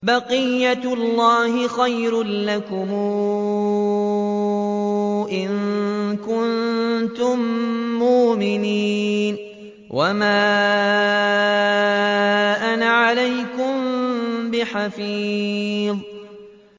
بَقِيَّتُ اللَّهِ خَيْرٌ لَّكُمْ إِن كُنتُم مُّؤْمِنِينَ ۚ وَمَا أَنَا عَلَيْكُم بِحَفِيظٍ